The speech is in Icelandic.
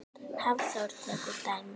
Hafþór tekur dæmi.